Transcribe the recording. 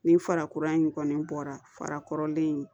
Nin fara kura in kɔni bɔra farakɔrɔlen in